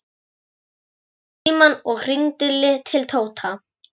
Hann tók símann og hringdi til Tóta.